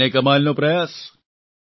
છે ને કમાલનો પ્રયાસ